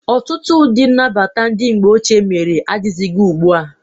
Ọtụtụ ụdị nnabata ndị mgbe ochie mere adịghịzị ugbu a.